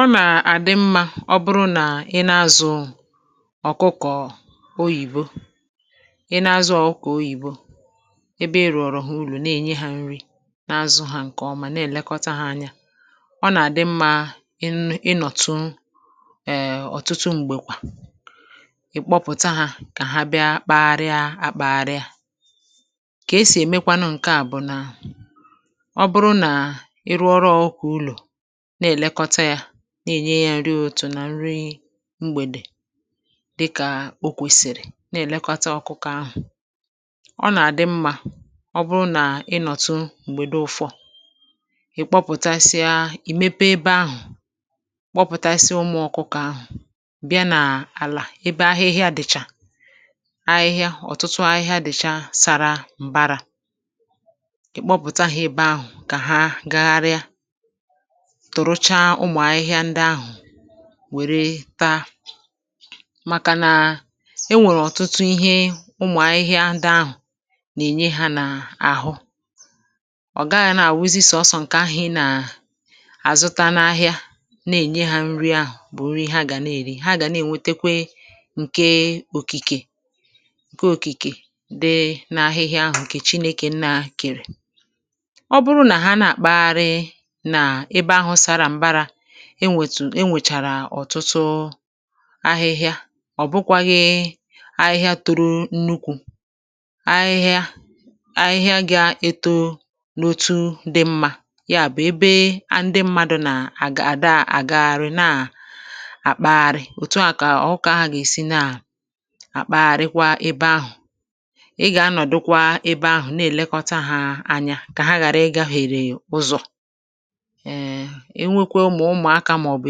Ọ nà-àdị mmȧ ọ bụrụ nà ị nà-azụ̀ ọ̀kụkọ̀ oyìbo, ị nà-azụ̀ ọ̀kụkọ̀ oyìbo, ebe ị rụ̀ọ̀rọ̀ ha ulo na-ènye hȧ nri n’azụ̇ ha ǹkè ọma nà-èlekọta hȧ anya, ọ nà-àdị mmȧ ị nụ ịnọ̀tụ ọ̀tụtụ m̀gbèkwà ì kpọpụ̀ta hȧ kà ha bịa kpagharià àkpȧgharià. Kà esì èmekwanụ ǹke à bụ̀ nà ọ bụrụ nà ị rụọrụ ọ̇kụ̀ko ụlọ̀ na-èlekọta yȧ na-ènye yȧ nri utù nà nri mgbèdè, dịkà o kwèsìrì na-èlekọta ọkụkọ̇ ahụ̀, ọ nà-àdị mmà ọ bụrụ nà ịnọ̀tụ m̀gbèdo ụfọ̇ ị̀kpọpụ̀tasịa ì mepe ebe ahụ̀ kpọpụ̀tasịa ụmụ̇ ọkụkọ̇ ahụ̀ bịa nà àlà ebe ahihia dị̀chà ahịhịa ọ̀tụtụ ahịhịa dị̀cha sàrà m̀barà ị̀kpọpụ̀ta hȧ ebe ahụ̀ kà ha gagharịa turucha ụmụ ahịhịa ndị ahu wère ta màkà nà enwèrè ọ̀tụtụ ihe ụmụ̀ ahịhịa dị ahụ̀ nà-ènye hȧ n’àhụ. ọ̀ gaghị̇ nà-àwụzi sọsọ̇ ǹkè ahụ̀ ị nà àzụta n’ahịa nà-ènye hȧ nri ahụ̀ bụ̀ nri ha gà na-èri ha gà nà-ènwetekwe ǹke òkìkè ǹke òkìkè di n’ahịhịa ahụ̀ ǹkè chinėkè nnà kèrè. Ọ bụrụ na ha na-akpa ghàri n'ebe ahụ sara mbara, e nwèchàrà ọ̀tụtụ ahịhịa ọ̀bụkwȧghị ahịhịa toro nnukwu̇ ahịhịa ahịhịa gị̇ eto n’otu dị mmȧ, ya bụ̀ ebe ndị mmadụ̇ nà à gà-àda àgaghàrị na-àkpaghàrị òtù a kà ọkụkọ ahụ gà-èsi na àkpaghàrị kwa ebe ahụ̀, ị gà-anọ̀dụkwa ebe ahụ̀ na-èlekọta hȧ anya kà ha ghàrị ịgȧghàrè ụzọ̀. Ee enwekwu ma ụmụaka maọbụ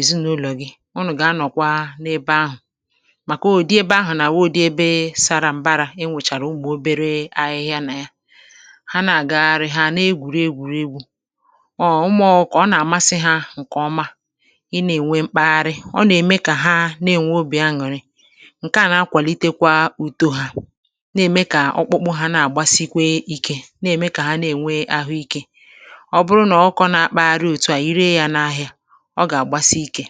ezinaụlọ gị, unu ga-anọkwa n'ebe ahụ, màkà ụdị ebe ahụ na-awụ ụdị ebe sara mbara nwechara ụmụ obere ahịhịa na ya, ha na-agagharị ha na-egwuri egwuregwu, ọ ọ ụmụ ọkụkọ, Ọ na-amasị ha nke ọma, ị na-enwe mkpaghari, ọ na-eme ka ha na-enwe obi aṅụrị, ǹke à na-akwàlitekwa ụ̀tọ hȧ na-ème kà ọkpụkpụ ha na-àgbasikwe ikė na-ème kà ha na-ènwe ahụ ikė, ọ bụrụ na ọkụkọ dị otú a, ire ya n'ahia, ọ gà-àgbasi ike.